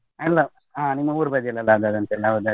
ಎಲ್ಲಾ ನಿಮ್ಮ ಊರ ಬದಿಯಲ್ಲಿ ಆದದಂತೆ ಅಲ್ಲ ಹೌದಾ?